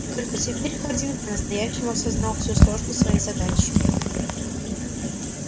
и только теперь хардин по-настоящему осознал всю сложность своей задачи